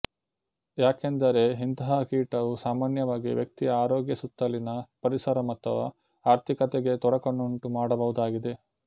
ಯಾಕೆಂದರೆ ಇಂತಹ ಕೀಟವು ಸಾಮಾನ್ಯವಾಗಿ ವ್ಯಕ್ತಿಯ ಆರೋಗ್ಯಸುತ್ತಲಿನ ಪರಿಸರ ಅಥವಾ ಆರ್ಥಿಕತೆಗೆ ತೊಡಕನ್ನುಂಟು ಮಾಡಬಹುದಾಗಿದೆ